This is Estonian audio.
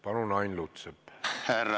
Palun, Ain Lutsepp!